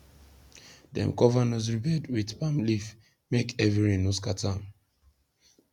dem cover nursery bed with palm leaf make heavy rain no scatter am